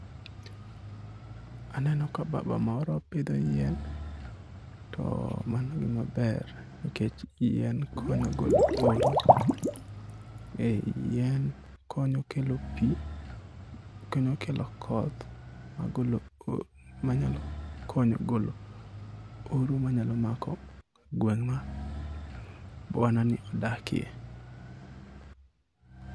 Aneno ka baba moro pidho yien, to mano gima ber nikech yien konyo golo oro, yien konyo kelo pi, konyo kelo koth manyalo konyo golo oro manya mako gweng' ma bwana ni odakie.